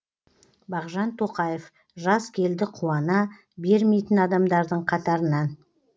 бағжан тоқаев жаз келді қуана бермейтін адамдардың қатарынан